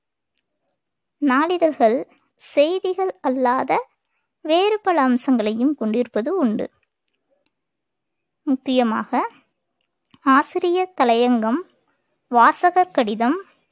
நாளிதழ்கள் செய்திகள் அல்லாத வேறு பல அம்சங்களையும் கொண்டிருப்பது உண்டு முக்கியமாக ஆசிரியர் தலையங்கம் வாசகர் கடிதம்